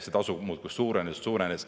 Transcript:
See tasu muudkui suurenes ja suurenes.